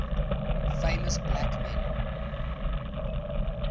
famous black men